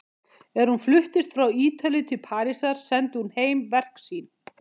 Er hún fluttist frá Ítalíu til Parísar sendi hún heim verk sín.